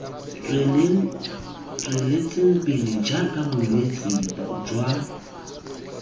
tsweletseng pele jaaka bolwetse jwa